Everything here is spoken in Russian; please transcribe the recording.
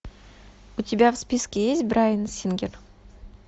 у тебя в списке есть брайан сингер